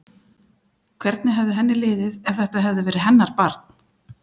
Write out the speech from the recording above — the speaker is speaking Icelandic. Hvernig hefði henni liðið ef þetta hefði verið hennar barn?